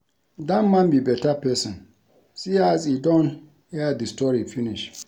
Dat man be beta person see as he don air the story finish